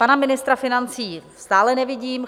Pana ministra financí stále nevidím.